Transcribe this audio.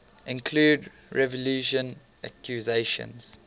include revulsion accusations